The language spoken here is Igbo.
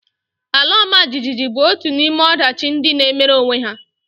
Ala ọmajiji bụ otu n'ime ọdachi ndị na-emere onwe ha